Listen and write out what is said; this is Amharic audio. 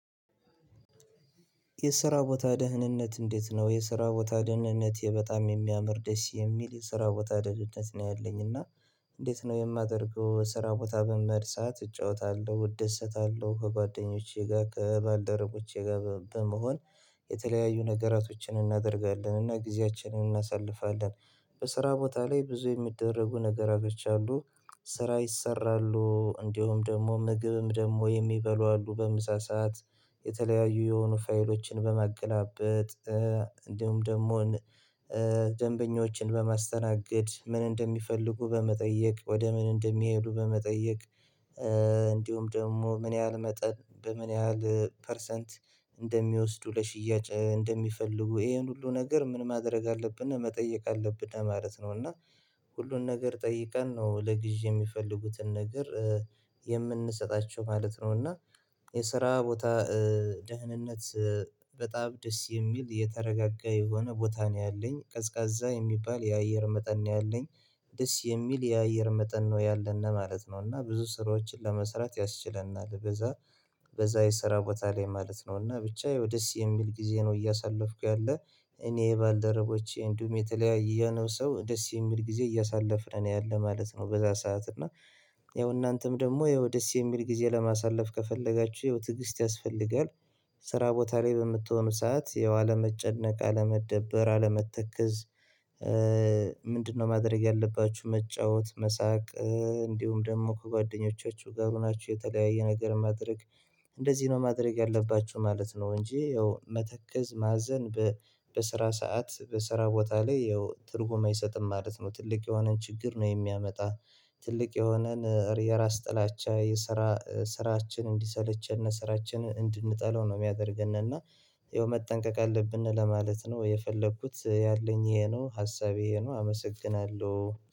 የስራ ቦታ ደህንነት እንዴት ነው የስራ ቦታ ደህንነቴ በጣም የሚያምር ደስ የሚል የስራ ቦታ ደህንነት ነው ያለኝ እና። እንዴት ነው የማደርገው ስራ ቦታ በምህድ ሰዓት እጫወታለሁ እደሰታለሁ ከጓደኞቼ ጋር ከባልደረቦቼ ጋር በመሆን የተለያዩ ነገራቶችን እናደርጋለን እና ጊዜያችንን እናሳልፋለን። በስራ ቦታ ላይ ብዙ የሚደረጉ ነገራቶች አሉ። ስራ ይሰራሉ እንዲሁም ደግሞ ምግብም ደግሞ የሚበሉ አሉ በምሳ ሰዓት። የተለያዩ የሆኑ ፋይሎችን በማገላበጥ እንዲሁም ደግሞን ደንበኞችን በማስተናገድ ምን እንደሚፈልጉ በመጠየቅ ወደ ምን እንደሚሄዱ በመጠየቅ። እንዲሁም ደግሞ ምን ያህል መጠን በምን ያህል ፐርሰንት እንደሚወስዱ ለሽያጭ እንደሚፈልጉ ይሄን ሁሉ ነገር ምን ማድረግ አለብንና መጠየቅ አለብንና ማለት ነው። እና ሁሉን ነገር ጠይቀን ነው ለግዢ የሚፈልጉትን ነገር የምንሰጣቸው ማለት ነው። እና የስራ ቦታ ደህንነት በጣም ደስ የሚል የተረጋጋ የሆነ ቦታ ነው። ያለኝ ቀዝቃዛ የሚባል የአየር መጠን ነው ያለኝ። ደስ የሚል የአየር መጠን ነው ያለን ማለት ነው። እና ብዙ ስራዎችን ለመስራት ያስችለናል በዛ። በዛ ይሰራ ቦታ ላይ ማለት ነው። እና ብቻ ያው ደስ የሚል ጊዜ ነው እያሳለፍኩ ያለ። እኔ የባልደረቦቼ እንዲሁም የተለያየ ያንን ሰው ደስ የሚል ጊዜ እያሳለፍነ ያለ ማለት ነው። በዛ ሰዓት እና ያው እናንተም ደግሞ ያው ደስ የሚል ጊዜ ለማሳለፍ ከፈለጋችሁ ያው ትግስት ያስፈልጋል። ስራ ቦታ ላይ በምትሆኑ ሰዓት ያው አለመጨነቅ አለመደበር አለመተክዝ። ምንድነው? ማድረግ ያለባችሁ መጫወት መሳቅ። እንዲሁም ደግሞ ከጓደኞቻችሁ ጋር ሆናችሁ የተለያየ ነገር ማድረግ እንደዚህ ነው ማድረግ ያለባችሁ ማለት ነው። እንጂ ያው መተክዝ ማዘን። በስራ ሰዓት በስራ ቦታ ላይ ያው ትርጉም አይሰጥም ማለት ነው። ትልቅ የሆነን ችግር ነው የሚያመጣ። ትልቅ የሆነን የራስ ጥላቻ የስራ ስራችን እንዲሰለቸን ስራችንን እንድንጠላው ነው ሚያደርገንና። ያው መጠንቀቅ አለብን ለማለት ነው የፈለኩት ያለኝ ይሄ ነው ሀሳቤ ይሄ ነው አመሰግናለሁ።